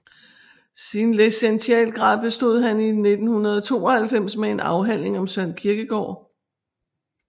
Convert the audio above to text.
Sin licentiatgrad bestod han i 1992 med en afhandling om Søren Kierkegaard